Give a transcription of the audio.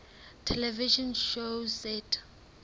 television shows set